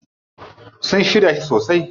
Sun shirya shi sosai.